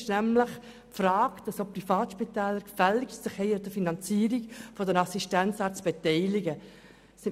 Es geht darum, dass sich auch Privatspitäler gefälligst an der Finanzierung der Assistenzärzte beteiligen sollen.